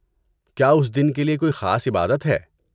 کیا اس دن کے لیے کوئی خاص عبادت ہے؟